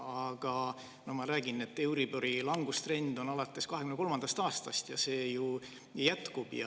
Aga ma räägin, et alates 2023. aastast on olnud euribori langustrend ja see ju jätkub.